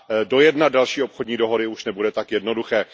Dojednat další obchodní dohody už nebude tak jednoduché.